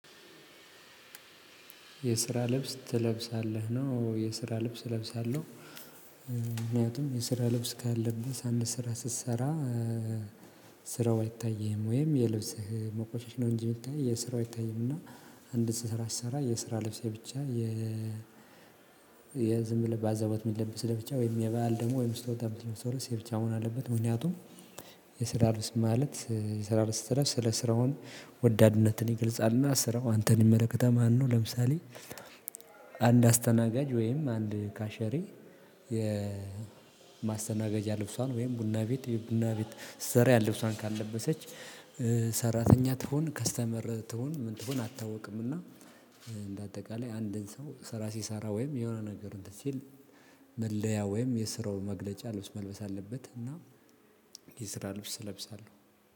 የስራ ልብስ ትለብሳለህ ነው የስራ ልብስ እለብሳለሁ። ምክንያቱም የስራ ልብስ ካለበስክ አንድ ስራ ስትሰራ ስራው አይታይህም ወይም የልብስህ መቆሸሽ ነው እንጂ የሚታይ የስራው አይታይምና አንድ ስራ ስሰራ የስራ ልብሴ ብቻ። የ ዝም ብለህ ባዘቦት የሚለብስ ለብቻ ወይም የባል ደግሞ ወይም ስቶታ የምትለብስ ስለዚህ ብቻ ሆኖ አለበት። ምክንያቱም የስራ ልብስ ማለት የስራ ልብስ ስራ ስለ ስራውን ወዳድነትን ይገልጻልና ስራው አንተን ይመለከታል ማነው? ለምሳሌ አንድ አስተናጋጅ ወይም አንድ ካሸሬ የማስተናገጃ ልብሷን ወይም ቡና ቤት ቡና ቤት ዘር ያለ ልብሷን ካልለበሰች። ሰራተኛ ትሆን ከስተመር ትሆን ምን ትሆን አትታውቅምና። በአጠቃላይ አንድን ሰው ስራ ሲሰራ ወይም የሆነ ነገር እንትን ሲል መለያ ወይም የስራውን መግለጫ ልብስ መልበስ አለበት። እና የስራ ልብስ እለብሳለሁ